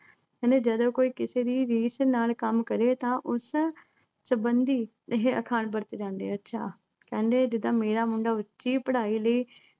ਕਹਿੰਦੇ ਜਦੋਂ ਕੋਈ ਕਿਸੇ ਦੀ ਰੀਸ ਨਾਲ ਕੰਮ ਕਰੇ ਤਾਂ ਉਸ ਸੰਬੰਧੀ ਇਹੇ ਅਖਾਣ ਵਰਤੀ ਜਾਂਦੀ ਹੈ। ਅੱਛਾ, ਕਹਿੰਦੇ ਜਿੱਦਾਂ ਮੇਰਾ ਮੁੰਡਾ ਉੱਚੀ ਪੜ੍ਹਾਈ ਲਈ